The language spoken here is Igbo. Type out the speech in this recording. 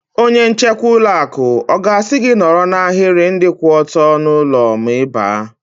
Onye nchekwa ụlọ akụ ọ ga-asị gị nọrọ n'ahiri ndị kwụ ọtọ n'ụlọ ma Ị baa?